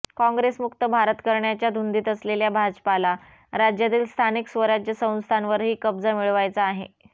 कॉंग्रेसमुक्त भारत करण्याच्या धुंदीत असलेल्या भाजपाला राज्यातील स्थानिक स्वराज्य संस्थांवरही कब्जा मिळवायचा आहे